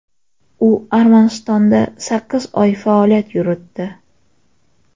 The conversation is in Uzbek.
U Armanistonda sakkiz oy faoliyat yuritdi.